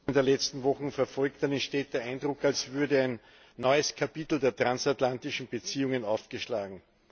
Frau Präsidentin! der letzten Wochen verfolgt, dann entsteht der Eindruck, als würde ein neues Kapitel der transatlantischen Beziehungen aufgeschlagen.